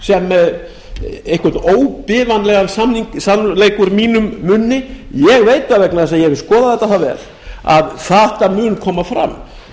sem einhvern óbifanlegan sannleik úr mínum munni ég veit það vegna þess að ég hef skoðað þetta það vel að þetta mun koma fram